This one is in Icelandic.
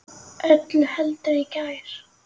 Öllu heldur í gær.